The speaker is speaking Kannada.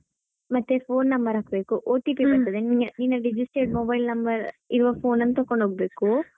ಮತ್ತೆ phone number ಹಾಕ್ಬೇಕು OTP ಬರುತ್ತದೆ ನಿನ್~ ನಿನ್ನ registered mobile number ಇರುವ phone ಅನ್ನು ತಗೊಂಡು ಹೊಗಬೇಕು.